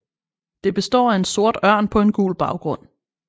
Det består af en sort ørn på en gul baggrund